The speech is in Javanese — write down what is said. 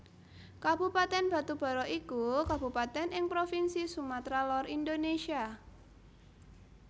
Kabupatèn Batubara iku kabupatèn ing Provinsi Sumatra Lor Indonésia